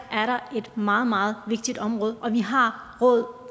her er et meget meget vigtigt område og at vi har råd